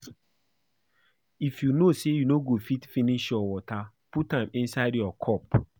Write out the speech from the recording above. If you know say you no go fit finish your water put am inside your cup